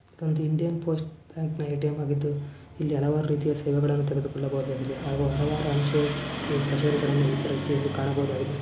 ಇದು Indian post ATM ಆಗಿದ್ದು ಇಲ್ಲಿ ಹಲವಾರು ತರಹದ ಸೇವೆಗಳನ್ನ ತೆರೆದುಕೊಳ್ಳಬಹುದಾಗಿದೆ ಹಾಗೂ ಹಲವಾರು ಅಂತೆ ಕಚೇರಿಗಳನ್ನು ಪ್ರತಿಯೊಬ್ಬರು ಕಾಣಬಹುದಾಗಿದೆ.